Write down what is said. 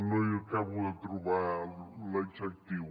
no hi acabo de trobar l’adjectiu